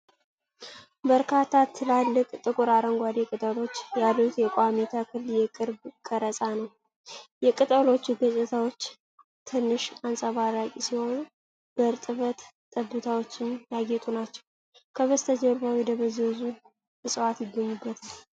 በርካታ ትላልቅ፣ ጥቁር አረንጓዴ ቅጠሎች ያሉት የቋሚ ተክል የቅርብ ቀረጻ ነው። የቅጠሎቹ ገጽታዎች ትንሽ አንጸባራቂ ሲሆኑ፣ በእርጥበት ጠብታዎችም ያጌጡ ናቸው፤ ከበስተጀርባው የደበዘዙ እፅዋት ይገኙበታል።